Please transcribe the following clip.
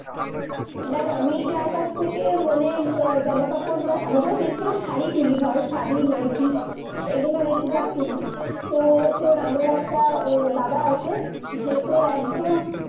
দেখ, আমি যার কাছ থেকে মানে আহ জামা-কাপড় বা আমি ধর বেশিভাগ শাড়ি তুলি, ধর, শাড়ি nightly এইগুলো বেশিভাগ তুলি তো তোর আমরা একটা আহ দাদা আছে, যে তোর একদম